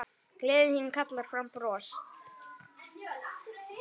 Gleðin þín kallar fram bros.